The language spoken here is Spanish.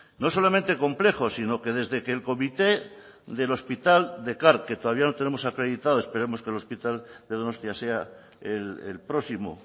no solamente complejo sino que desde que el comité del hospital de car que todavía no tenemos acreditado esperamos que el hospital de donostia sea el próximo